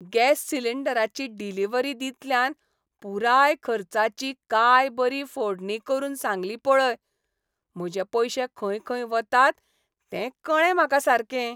Gas सिलींडराची delivery दितल्यान पुराय खर्चाची काय बरी फोडणी करून सांगली पळय. म्हजे पयशे खंय खंय वतात तें कळ्ळें म्हाका सारकें.